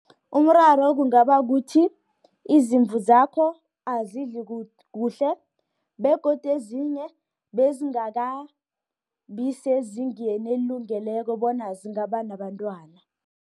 Umraro kungaba kuthi izimvu zakho azidli kuhle, begodi ezinye bezingakabi sezingeni elilungileko bona zingabanabantwana.